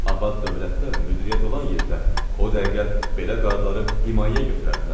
abad dövlətdə müdiriyyət olan yerdə o dəqiqə belə qarları himayəyə götürərdilər.